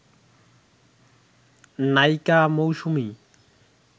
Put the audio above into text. নায়িকা মৌসুমী